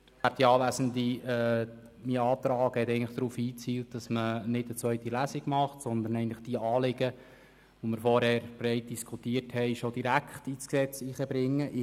Mein Antrag hat eigentlich darauf abgezielt, keine zweite Lesung abzuhalten, sondern die zuvor breit diskutierten Anliegen direkt ins Gesetz einzubringen.